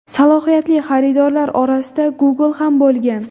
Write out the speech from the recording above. Salohiyatli xaridorlar orasida Google ham bo‘lgan.